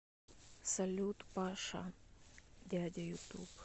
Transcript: салют дядя паша ютуб